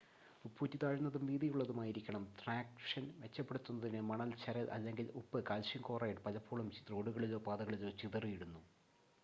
ഉപ്പൂറ്റി താഴ്ന്നതും വീതിയുള്ളതുമായിരിക്കണം. ട്രാക്ഷൻ മെച്ചപ്പെടുത്തുന്നതിന് മണൽ ചരൽ അല്ലെങ്കിൽ ഉപ്പ് കാൽസ്യം ക്ലോറൈഡ് പലപ്പോഴും റോഡുകളിലോ പാതകളിലോ ചിതറിയിടുന്നു